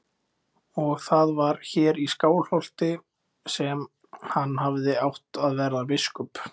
Og það var hér í Skálholti sem hann hafði átt að verða biskup.